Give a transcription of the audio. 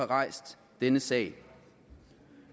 rejst denne sag